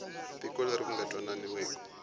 tiko leri ku nga twananiwa